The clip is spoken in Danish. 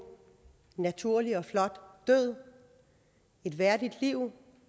naturlig og flot død et værdigt liv